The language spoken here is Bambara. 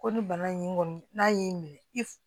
Ko ni bana in kɔni n'a y'i minɛ i f